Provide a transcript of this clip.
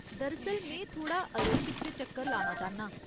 दरअसल, में थोह्ड़ा अग्गें पिच्छें चक्कर लाना चाह्न्नां।